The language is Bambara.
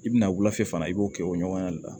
I bɛna wulafɛ fana i b'o kɛ o ɲɔgɔnna de la